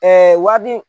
wari di